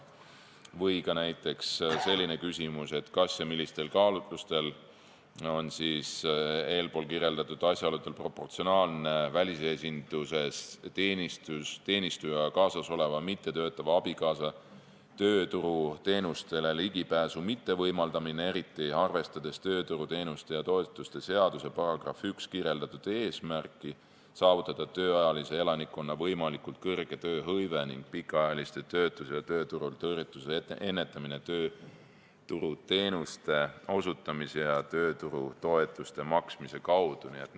Või ka näiteks selline küsimus: kas ja millistel kaalutlustel on eespool kirjeldatud asjaoludel proportsionaalne välisesinduses teenistujaga kaasasoleva mittetöötavale abikaasale tööturuteenustele ligipääsu mittevõimaldamine, eriti arvestades tööturuteenuste ja -toetuste seaduse §-s 1 kirjeldatud eesmärki saavutada tööealise elanikkonna võimalikult kõrge tööhõive ning pikaajalise töötuse ja tööturult tõrjutuse ennetamine tööturuteenuste osutamise ja tööturutoetuste maksmise kaudu?